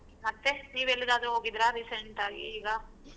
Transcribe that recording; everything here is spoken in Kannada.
ಮತ್ತೆ ನೀವ್ ಎಲ್ಲಿಗಾದ್ರೂ ಹೋಗಿದ್ದೀರಾ recent ಆಗಿ ಈಗ.